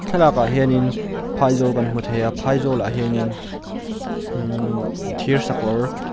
thlalak ah hianin phali zawl kan hmu thei a phai zawl ah hian in ihh thirsakawr--